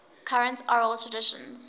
current oral traditions